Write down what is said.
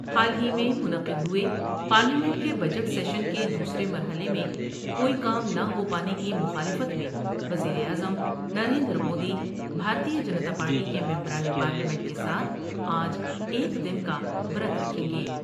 حال ہی میں منعقد ہوۓ پارلیمنٹ کے بجٹ سیشن کے دوسرے مرحلے میں کوئی کام نہ ہو پانے کی مخالفت میں وزیراعظم نریندرمودی بھارتیہ جنتا پارٹی کے ممبران پارلیمنٹ کے ساتھ آج ایک دن کا ورت رکھیں گے ۔